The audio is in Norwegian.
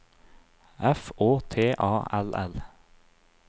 F Å T A L L